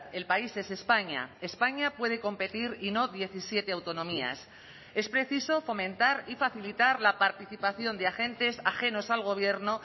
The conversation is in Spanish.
el país es españa españa puede competir y no diecisiete autonomías es preciso fomentar y facilitar la participación de agentes ajenos al gobierno